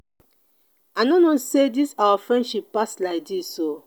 i no know say dis our friendship pass like dis oo